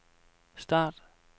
start